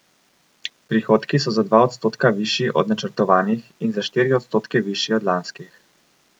Prihodki so za dva odstotka višji od načrtovanih in za štiri odstotke višji od lanskih.